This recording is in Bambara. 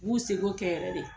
B'u seko kɛ yɛrɛ de.